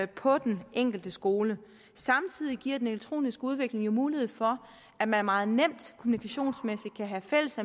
på den enkelte skole samtidig giver den elektroniske udvikling jo mulighed for at man meget nemt kommunikationsmæssigt kan have fælles